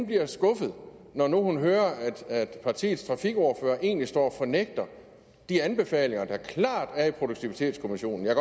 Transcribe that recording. bliver skuffet når nu hun hører at partiets trafikordfører egentlig står og fornægter de anbefalinger der klart er i produktivitetskommissionen jeg